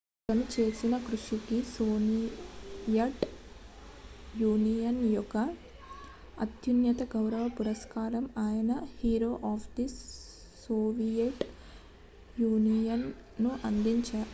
"అతను చేసిన కృషికి సోవియట్ యూనియన్ యొక్క అత్యున్నత గౌరవ పురస్కారం అయిన "Hero of the Soviet Union" ను అందుకున్నాడు.